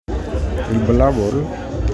Ibulabul?